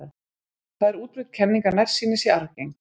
Það er útbreidd kenning að nærsýni sé arfgeng.